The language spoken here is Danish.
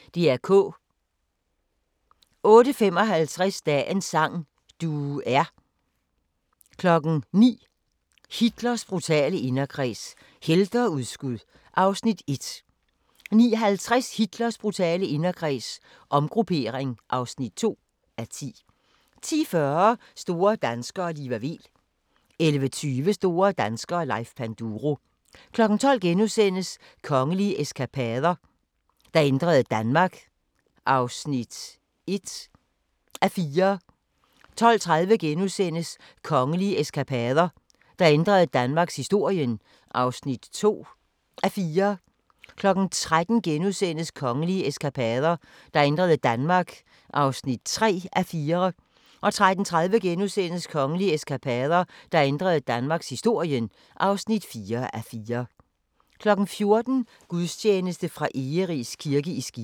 08:55: Dagens sang: Du er 09:00: Hitlers brutale inderkreds – helte og udskud (1:10) 09:50: Hitlers brutale inderkreds – omgruppering (2:10) 10:40: Store danskere - Liva Weel 11:20: Store danskere - Leif Panduro 12:00: Kongelige eskapader – der ændrede Danmark (1:4)* 12:30: Kongelige eskapader – der ændrede danmarkshistorien (2:4)* 13:00: Kongelige eskapader – der ændrede Danmark (3:4)* 13:30: Kongelige Eskapader – der ændrede danmarkshistorien (4:4)* 14:00: Gudstjeneste fra Egeris kirke i Skive